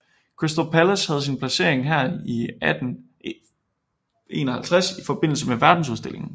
Crystal Palace havde sin placering her i 1851 i forbindelse med verdensudstillingen